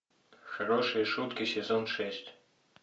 хорошие шутки сезон шесть